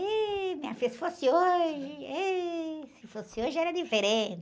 Ih, minha filha, se fosse hoje, ih, se fosse hoje era diferente.